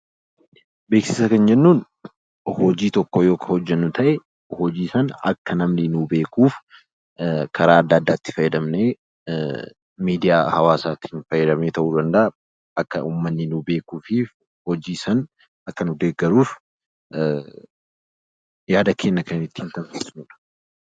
Beeksisa kan jennuun hojii tokko kan hojjennu yoo ta'e, hojii sana akka namni nuuf beekuuf karaa addaa addaatti fayyadamnee miidiyaa hawaasaa fayyadamnee ta'uu danda'a akka uummanni nuuf beekuuf hojii sana akka nu deeggaruuf yaada keenya kan ittiin kenninudha.